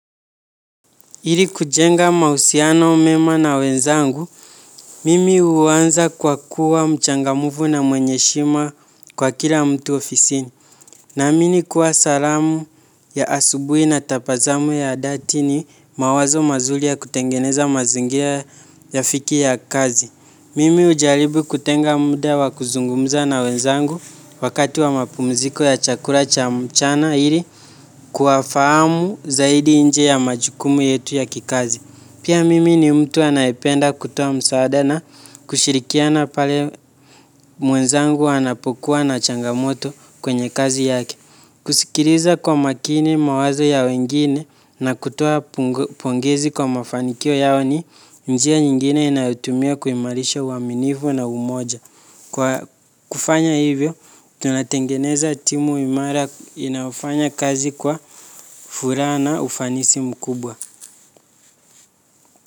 Iri kujenga mausiano mema na wenzangu, mimi uanza kwa kuwa mchangamufu na mwenye shima kwa kila mtu ofisini. Naamini kuwa salamu ya asubui na tapazamu ya dati ni mawazo mazuli ya kutengeneza mazingira yafikie ya kazi. Mimi ujaribu kutenga mda wa kuzungumza na wenzangu wakati wa mapumziko ya chakula cha mchana ili kuwafaamu zaidi nje ya majukumu yetu ya kikazi. Pia mimi ni mtu anaependa kutoa msaada na kushirikiana pale mwenzangu anapokuwa na changamoto kwenye kazi yake. Kusikiriza kwa makini mawazo ya wengine na kutoa pongezi kwa mafanikio yao ni njia nyingine inayotumia kuimarisha uaminifu na umoja. Kwa kufanya hivyo, tunatengeneza timu imara inaofanya kazi kwa furaa na ufanisi mkubwa.